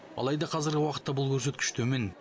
алайда қазіргі уақытта бұл көрсеткіш төмен